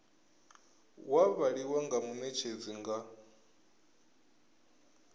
wa vhaliwa nga munetshedzi nga